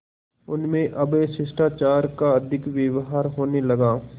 उनमें अब शिष्टाचार का अधिक व्यवहार होने लगा